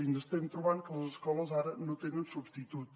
i ens estem trobant que les escoles ara no tenen substitut